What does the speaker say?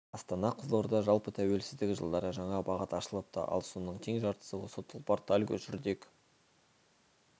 астана-қызылорда жалпы тәуелсіздік жылдары жаңа бағыт ашылыпты ал соның тең жартысы осы тұлпар тальго жүрдек